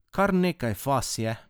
Kar nekaj faz je.